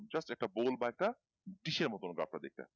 just pole বা একটা ডিসের মতো গ্রাফ টা দেখতে